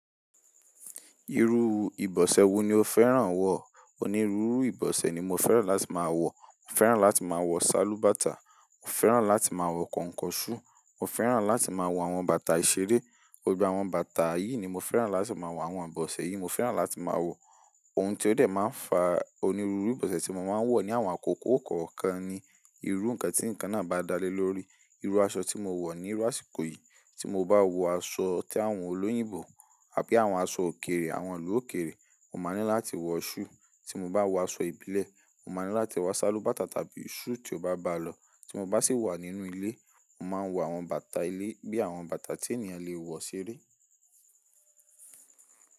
Irú ìbọ̀sẹ̀ wo ni o fẹ́ràn wọ̀? Onírúurú ìbọ̀sẹ̀ ni mo fẹ́ràn láti máa wọ̀. Mo fẹ́ràn láti máa wọ sálúbàtà, mo fẹ́ràn láti máa wọ kọnkọṣú, mo fẹ́ràn láti máa wọ àwọn bàtà ìṣeré. Gbogbo àwọn bàtà yìí ni mo fẹ́ràn láti máa wọ àwọn ìbọ̀sẹ̀ yìí. Mo fẹ́ràn láti máa wọ ohun tí ó dẹ̀ máa ń fa onírúurú ìbọ̀sẹ̀ tí mo máa ń wọ̀ ní àwọn àkókò kọ̀ọ̀kan ni, irú nǹkan tí ǹkan náà bá dá lé lórí. Irú aṣọ tí mo wọ̀ ní irú àsìkò yìí, tí mo bá wọ aṣọ tẹ́ àwọn olóyìnbó àbí àwọn aṣọ òkèèrè, àwọn àwọn àwọn àwọn àwọn àwọn àwọn àwọn àwọn àwọn àwọn àwọn àwọn àwọn òkèèrè, mo máa ní láti wọ ṣú. Tí mo bá wọ aṣọ ìbílẹ̀, mo máa ní láti wọ sálúbàtà tàbí ṣú tí ó bá bá lọ. Tí mo bá sì wà nínú ilé, mo máa ń wọ àwọn bàtà ilé bí àwọn bàtà tí ènìyàn lè wọ seré.